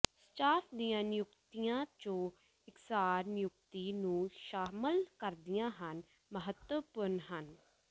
staff ਦੀਆਂ ਨਿਯੁਕਤੀਆਂ ਜੋ ਇਕਸਾਰ ਨਿਯੁਕਤੀ ਨੂੰ ਸ਼ਾਮਲ ਕਰਦੀਆਂ ਹਨ ਮਹੱਤਵਪੂਰਨ ਹਨ